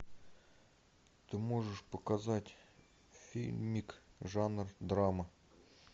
ты можешь показать фильмик жанр драма